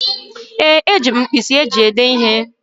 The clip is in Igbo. Ee, eji m mkpịsị eji èdé ihe.